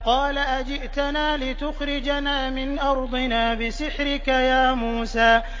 قَالَ أَجِئْتَنَا لِتُخْرِجَنَا مِنْ أَرْضِنَا بِسِحْرِكَ يَا مُوسَىٰ